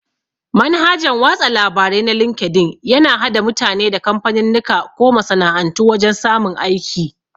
Manhajan watsa labare na linkedin yana hada mutane da kamfaninnika ko masana'antu wajan samun aiki